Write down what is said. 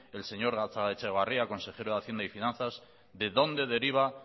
el señor gatzagaetxebarria consejero de hacienda y finanzas de dónde deriva